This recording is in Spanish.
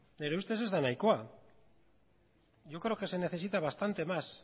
nere ustez ez da nahikoa yo creo que se necesita bastante más